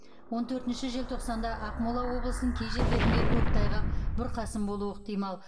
он төртінші желтоқсанда ақмола облысының кей жерлерінде көктайғақ бұрқасын болуы ықтимал